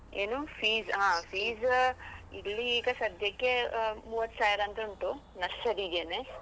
ಏನು? fees . ಆ fees ಇಲ್ಲಿ ಈಗ ಸದ್ಯಕ್ಕೆ ಆ ಮೂವತ್ತ್ ಸಾವ್ರಾಂತ ಉಂಟು, Nursery ಗೆನೆ.